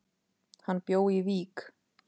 Hann bjó í Vík.